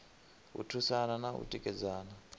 u thusana na u tikedzana